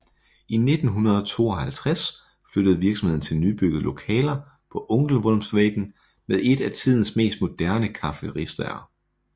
I 1952 flyttede virksomheden til nybyggede lokaler på Ängelholmsvägen med et af tidens mest moderne kafferisterier